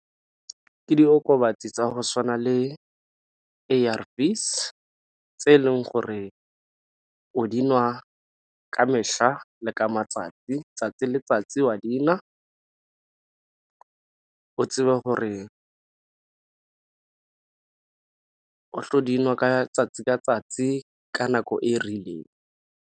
Ke diokobatsi tsa go tshwana le A_R_Vs tse e leng gore o di nwa ka mehla le ka matsatsi, 'tsatsi le 'tsatsi o a dinwa. O tsebe gore o tlo dinwa ka 'tsatsi ka 'tsatsi ka nako e rileng.